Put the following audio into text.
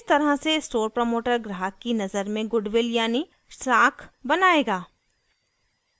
इस तरह से स्टोर प्रमोटर ग्राहक की नज़र में गुडविल यानी साख़ बनाएगा